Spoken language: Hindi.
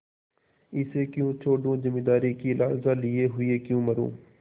इसे क्यों छोडूँ जमींदारी की लालसा लिये हुए क्यों मरुँ